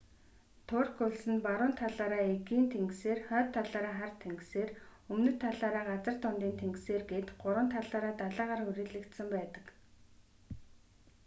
турк улс нь баруун талаараа эгийн тэнгисээр хойд талаараа хар тэнгисээр өмнөд талаараа газар дундын тэнгисээр гээд гурван талаараа далайгаар хүрээлэгдсэн байдаг